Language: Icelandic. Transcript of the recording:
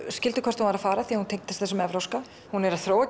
skildu hvert hún var að fara því hún tengdist þessum evrópska hún er að þróa